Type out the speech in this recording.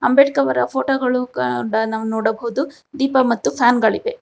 ಅಂಬೇಡ್ಕರ್ ಅವರ ಫೋಟೋಗಳು ನಾವು ನೋಡಬಹುದು ದೀಪ ಮತ್ತು ಫ್ಯಾನ್ಗ ಳಿವೆ.